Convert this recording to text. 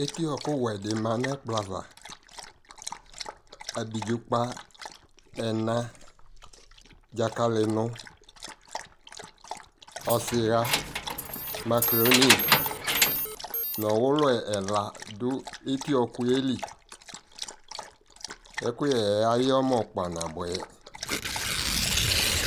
Eti ɔɔkʋ wɛ dι ma nʋ ɛkplɔ ava Abidzo kpa ɛna, dzakali nʋ ɔsiɣa, makroni nʋ ɔwulu ɛla dʋ eti ɔɔkʋ yɛ lι Ɛkʋyɛ yɛ ayɛ ɔmɔ kpa nabuɛ